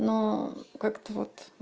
но как-то вот